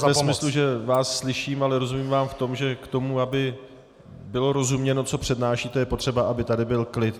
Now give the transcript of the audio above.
Ne ve smyslu, že vás slyším, ale rozumím vám v tom, že k tomu, aby bylo rozuměno, co přednášíte, je potřeba, aby tady byl klid.